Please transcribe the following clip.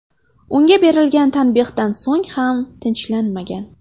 Unga berilgan tanbehdan so‘ng ham tinchlanmagan.